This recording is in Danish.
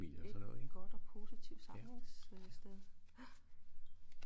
Et godt og positivt samlings øh sted